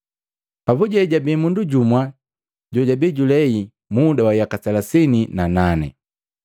Papuje jabii mundu jumu jojabii julehi muda wa yaka selasini na nane.